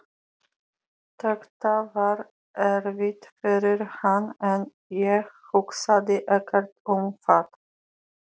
Þetta var erfitt fyrir hana en ég hugsaði ekkert um það.